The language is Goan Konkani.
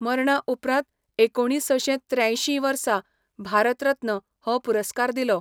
मरणा उपरांत एकुणीसशें त्र्यांशीं वर्सा भारत रत्न हो पुरस्कार दिल्लो.